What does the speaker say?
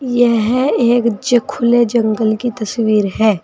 यह एक खुले जंगल की तस्वीर है।